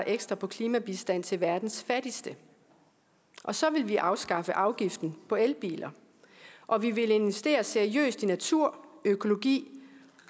ekstra på klimabistand til verdens fattigste og så ville vi afskaffe afgiften på elbiler og vi ville investere seriøst i natur økologi